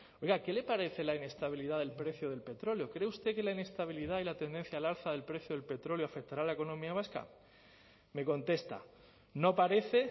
oiga qué le parece la inestabilidad del precio del petróleo cree usted que la inestabilidad y la tendencia al alza del precio del petróleo afectará a la economía vasca me contesta no parece